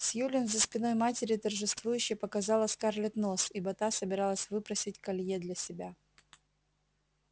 сьюлин за спиной матери торжествующе показала скарлетт нос ибо та собиралась выпросить колье для себя